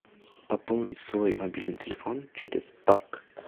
пополнить свой мобильный телефон через банк